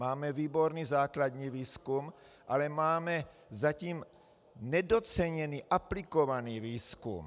Máme výborný základní výzkum, ale máme zatím nedoceněný aplikovaný výzkum.